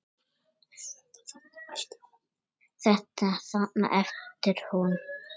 Þetta þarna, æpti hún.